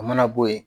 O mana bɔ yen